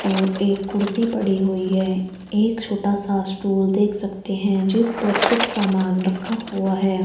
और एक कुर्सी पड़ी हुई है एक छोटा सा स्टूल देख सकते हैं जिस पर कुछ सामान रखा हुआ है।